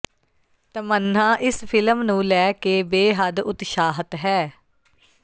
ਤਮੰਨ੍ਹਾ ਇਸ ਫਿਲਮ ਨੂੰ ਲੈ ਕੇ ਬੇਹੱਦ ਉਤਸ਼ਾਹਤ ਹੈ